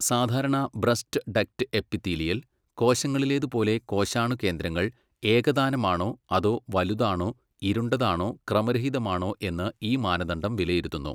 സാധാരണ breast duct epithelial കോശങ്ങളിലേതുപോലെ കോശാണുകേന്ദ്രങ്ങൾ ഏകതാനമാണോ അതോ വലുതാണോ ഇരുണ്ടതാണോ ക്രമരഹിതമാണോ എന്ന് ഈ മാനദണ്ഡം വിലയിരുത്തുന്നു.